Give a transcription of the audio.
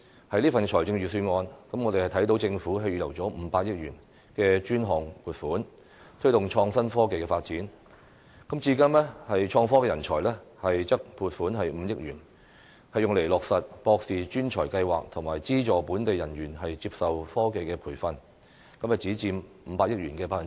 在這份預算案中，我們看到政府預留了500億元的專項撥款，推動創新科技發展，至於創科人才則撥款5億元，用以落實"博士專才庫"企劃及資助本地人員接受科技培訓，只佔500億元的 1%。